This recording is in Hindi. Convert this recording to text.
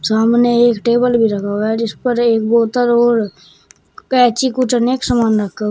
सामने एक टेबल भी रखा हुआ है जिस पर एक बोतल और कैंची कुछ नेक सामान रखा हुआ है।